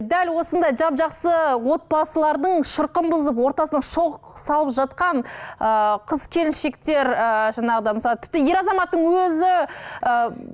дәл осындай жап жақсы отбасылардың шырқын бұзып ортасына шоқ салып жатқан ыыы қыз келіншектер ыыы жаңағыда мысалы тіпті ер азаматтың өзі ы